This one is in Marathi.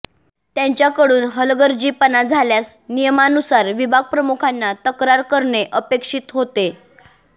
त्यांच्याकडून हलगर्जीपणा झाल्यास नियमानुसार विभागप्रमुखांना तक्रार करणे अपेक्षित होते